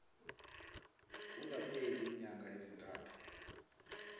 kungakapheli iinyanga ezintathu